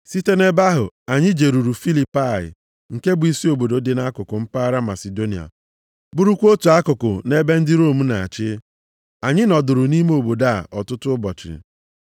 Site nʼebe ahụ anyị jeruru Filipai nke bụ isi obodo dị nʼakụkụ mpaghara Masidonia bụrụkwa otu akụkụ nʼebe ndị Rom na-achị. Anyị nọdụrụ nʼime obodo a ọtụtụ ụbọchị.